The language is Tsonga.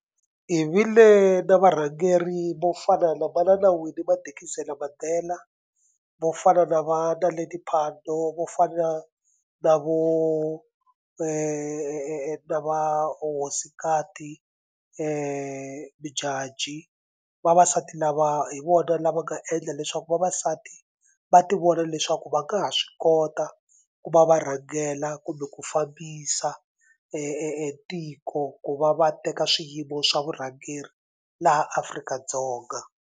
Hi vile na varhangeri vo fana na manana Winnie Madikizela Mandela, vo fana na va Naledi Phando, vo fana na vo na va hosikati Modjadji. Vavasati lava hi vona lava nga endla leswaku vavasati va tivona leswaku va nga ha swi kota ku va va rhangela kumbe ku fambisa tiko ku va va teka swiyimo swa vurhangeri laha Afrika-Dzonga.